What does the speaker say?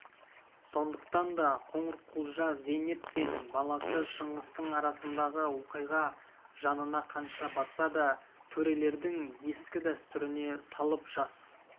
сондықтан да қоңырқұлжа зейнеп пен баласы шыңғыстың арасындағы оқиға жанына қанша батса да төрелердің ескі дәстүріне салып жас